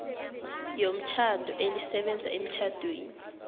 yomtjhado elisebenza emtjhadweni